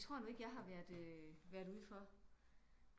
Det tror jeg nu ikke jeg har været ude for